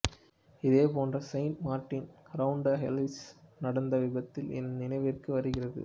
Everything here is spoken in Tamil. இதே போன்ற செயின்ட் மார்டின் ரவுண்டுஹௌசில் நடந்த விபத்து என் நினைவிற்கு வருகிறது